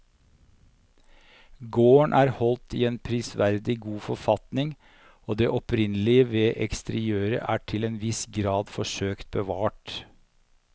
Gården er holdt i en prisverdig god forfatning og det opprinnelige ved eksteriørene er til en viss grad forsøkt bevart.